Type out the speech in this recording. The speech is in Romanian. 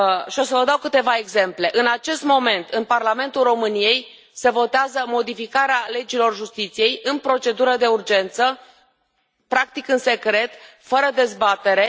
O să vă dau câteva exemple în acest moment, în Parlamentul României se votează modificarea legilor justiției în procedură de urgență practic, în secret, fără dezbatere.